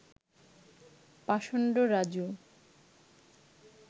পাষণ্ড রাজু